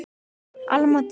Alma Dís.